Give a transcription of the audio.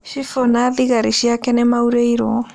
Cibũ na thigari ciake nĩmaurĩirwo